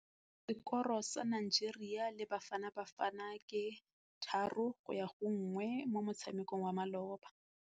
Sekôrô sa Nigeria le Bafanabafana ke 3-1 mo motshamekong wa malôba.